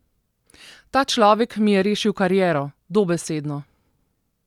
Ta človek mi je rešil kariero, dobesedno.